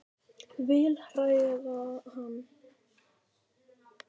Vil hræða hann.